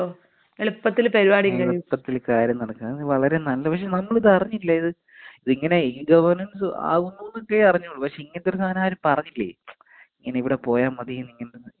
എളുപ്പത്തിൽ കാര്യം നടക്കും. അത് വളരേ നല്ല അതിന് നമ്മളിത് അറിഞ്ഞില്ല ഇത് ഇങ്ങനെ ഇ ഗവേര്‍ണന്‍സ് അവൂന്നല്ലേ അറിഞ്ഞൊള്ളൂ പക്ഷേ ഇങ്ങനത്തെ ഒരു സാനം ആരും പറഞ്ഞില്ലേയ്. ഇങ്ങനെ ഇവിടെ പോയാ മതീ ഇങ്ങനത്തെ ഇങ്ങനത്തെ സർട്ടിഫിക്കറ്റ്കൾക്കെ.